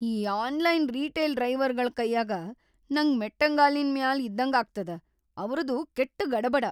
ಈ online retail ಡ್ರೈವರ್ಗಳ್ ಕೈಯಾಗ‌ ನಂಗ್‌ ಮೆಟ್ಟಂಗಾಲಿನ್‌ ಮ್ಯಾಲ್‌ ಇದ್ದಂಗ ಆಗ್ತದ, ಅವ್ರದು ಕೆಟ್ಟ್ ಗಡಬಡ.